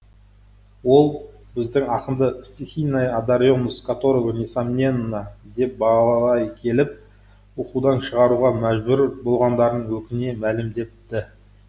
ол біздің ақынды стихийная одаренность которого несомненна деп бағалай келіп оқудан шығаруға мәжбүр болғандарын өкіне мәлімдепті